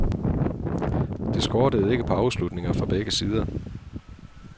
Det skortede ikke på afslutninger fra begge sider.